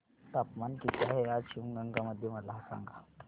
तापमान किती आहे आज शिवगंगा मध्ये मला सांगा